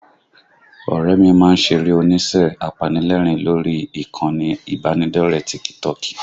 Ọ̀rẹ́ ẹ mi má ń ṣeré onísẹ́ apanilẹ́rìn lórí ìkànnì ìbánidọ́ọ̀rẹ́ tíkítọọ̀kì